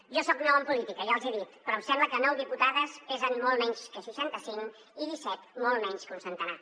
jo soc nou en política ja els hi he dit però em sembla que nou diputades pesen molt menys que seixanta cinc i disset molt menys que un centenar